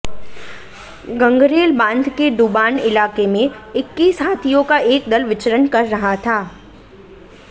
गंगरेल बांध के डुबान इलाके में इक्कीस हाथियों का एक दल विचरण कर रहा था